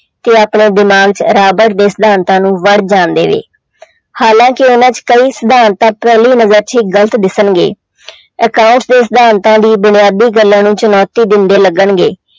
ਤੇ ਆਪਣੇ ਦਿਮਾਗ 'ਚ ਰਾਬਟ ਦੇ ਸਿਧਾਤਾਂ ਨੂੰ ਵੜ ਜਾਣ ਦੇਵੇ ਹਾਲਾਂਕਿ ਉਹਨਾਂ 'ਚ ਕਈ ਸਿਧਾਂਤ ਤਾਂ ਪਹਿਲੀ ਨਜ਼ਰ 'ਚ ਹੀ ਗ਼ਲਤ ਦਿਸਣਗੇ accountants ਦੇ ਸਿਧਾਂਤਾਂ ਦੀ ਬੁਨਿਆਦੀ ਗੱਲਾਂ ਨੂੰ ਚੁਣੌਤੀ ਦਿੰਦੇ ਲੱਗਣਗੇ।